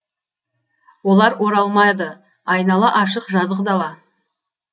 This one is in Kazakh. олар оралмады айнала ашық жазық дала